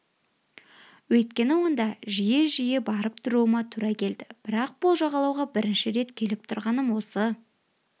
өйткені онда жиі-жиі барып тұруыма тура келді бірақ бұл жағалауға бірінші рет келіп тұрғаным осы